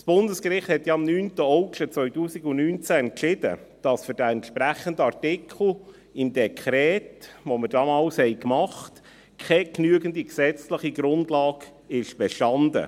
Das Bundesgericht hat ja am 9. August 2019 entschieden, dass für den entsprechenden Artikel im AND, welches wir damals erliessen, keine genügende gesetzliche Grundlage bestand.